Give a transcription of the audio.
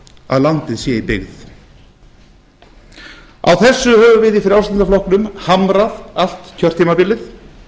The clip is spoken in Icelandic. að landið sé í byggð á þessu höfum við í frjálslynda flokknum hamrað allt kjörtímabilið